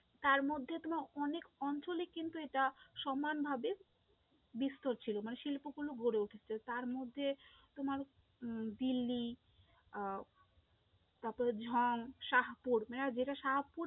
তার মধ্যে তোমার অনেক অঞ্চলেই কিন্তু এটা সমানভাবে বিস্তার ছিল, মানে শিল্পগুলো গড়ে উঠেছে, তারমধ্যে তোমার উম দিল্লী আহ তারপরে ঝম, সাহাপুর মানে যেটা সাহাপুর